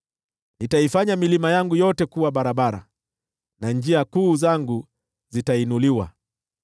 Nitaifanya milima yangu yote kuwa barabara, na njia kuu zangu zitainuliwa.